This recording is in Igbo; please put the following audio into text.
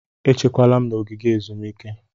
Echekwala m n'ogige ezumike!